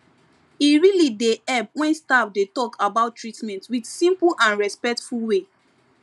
e really dey help when staff dey talk about treatment with simple and respectful way